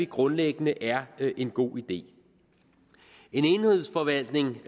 grundlæggende er en god idé en enhedsforvaltning